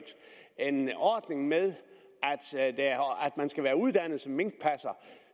en ordning med at man skal være uddannet som minkpasser